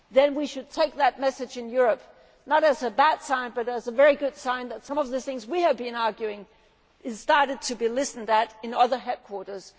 about it'. We should take that message in Europe not as a bad sign but as a very good sign that some of the things we have been advocating are starting to be listened to in other